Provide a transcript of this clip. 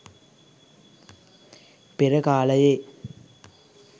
පෙර කාලයේ